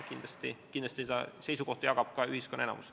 Kindlasti jagab seda seisukohta ka ühiskonna enamik.